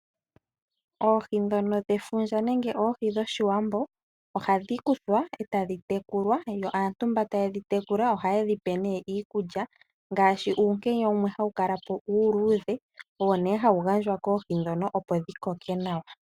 Oohi dhono dhefundja nenge oohi dhOshiwambo ohadhi kuthwa e tadhi tekulwa, yo aantu mboka taye dhi tekula ohaye dhi pe nee iikulya mgaashi uunkenya wumwe hawu kalapo uuludhe. Owo nee hawu gandjwa koohi dhono opo dhi koke nawa.